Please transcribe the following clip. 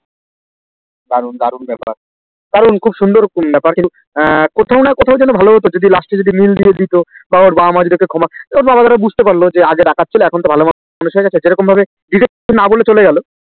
দারুন দারুন বেপার কারণ খুব সুন্দর উপ্পনাশ হ্যান কোথ না কথাই যেন ভালো যদি লাস্টে জপিড মল দিতো বা ওর বাবা ওকে ক্ষমা কে দিতো বুজতে ওয়ার যা আজি খান সে ভালো মানুষ হয়ে গেছে জেরোম ভাবে না বলছি এসেছে